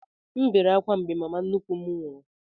M bere ákwá mgbe mama nnukwu m nwụrụ